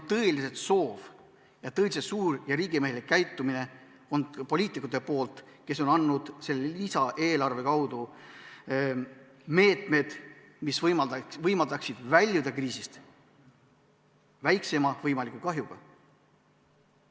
Tunda on tõeliselt suurt ja riigimehelikku käitumist poliitikute poolt, kes selle lisaeelarve kaudu on andnud meetmed, mis võimaldavad kriisist väljuda väikseima võimaliku kahjuga.